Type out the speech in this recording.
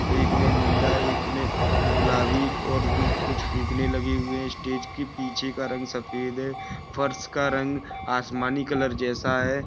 एक ने नीला एक ने गुलाबी और कुछ फुकाने लगे हुवे है स्टेज के पिछे का रंग सफेद है फर्श का रंग आसामी कलर जैसा है।